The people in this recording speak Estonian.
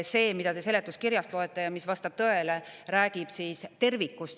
See, mida te seletuskirjast loete ja mis vastab tõele, räägib tervikust.